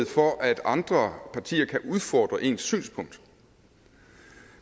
for at andre partier kan udfordre ens synspunkt